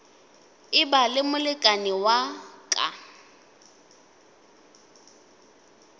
eba le molekane wa ka